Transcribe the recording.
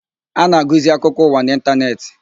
A na-agụzi akụkọ ụwa n'ịntanetị.